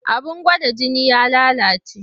Abin gwada jini ya lalace.